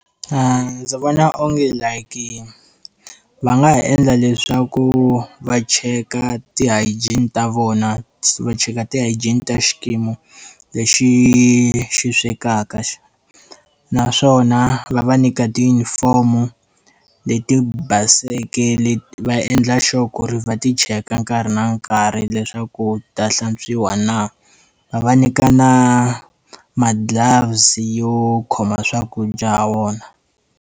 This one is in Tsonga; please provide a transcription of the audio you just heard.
Ndzi vona onge like va nga ha endla leswaku va cheka ti-hygiene ta vona va cheka ti-hygiene ta xikimi lexi xi swekaka naswona va va nyika tijunifomu leti baseke leti va endla sure ku ri va ti cheka nkarhi na nkarhi leswaku ta hlantswiwa na, va va nyika na ma-gloves yo khoma swakudya hawona.